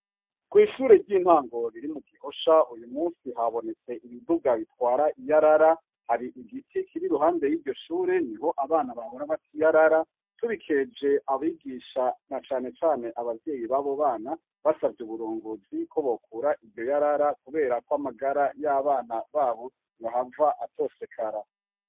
Kw'ishure ry'intango riri mu Gihosha, uyu musi habonetse ibiduga bitwara iyarara, hari igiti kiri iruhande y'iryo shure niho abana bahora bata iyarara tubikeje abigisha na cane cane abavyeyi babo bana basavye uburongozi ko bokura iryo yarara kuberako amagara y'abana babo yohava atosekara.